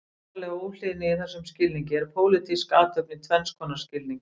Borgaraleg óhlýðni í þessum skilningi er pólitísk athöfn í tvenns konar skilningi.